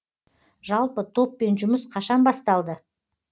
жалпы топпен жұмыс қашан басталды